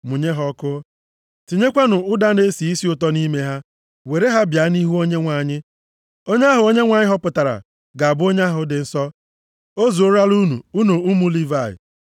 mụnye ha ọkụ. Tinyekwanụ ụda na-esi isi ụtọ nʼime ha, were ha bịa nʼihu Onyenwe anyị. Onye ahụ Onyenwe anyị họpụtara ga-abụ onye ahụ dị nsọ. O zuorola unu, unu ụmụ Livayị!” + 16:7 Nke a na-egosi na ha agafeela oke e nyedebere ha.